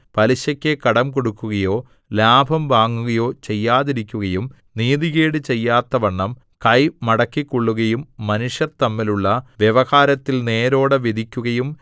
പലിശയ്ക്കു കൊടുക്കുകയോ ലാഭം വാങ്ങുകയോ ചെയ്യാതിരിക്കുകയും നീതികേട് ചെയ്യാത്തവണ്ണം കൈ മടക്കിക്കൊള്ളുകയും മനുഷ്യർ തമ്മിലുള്ള വ്യവഹാരത്തിൽ നേരോടെ വിധിക്കുകയും